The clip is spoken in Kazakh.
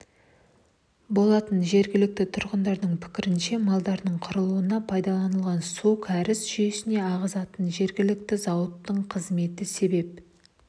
болатын жергілікті тұрғындардың пікірінше малдардың қырылуына пайдаланылған суын кәріз жүйесіне ағызатын жергілікті зауыттың қызметі себеп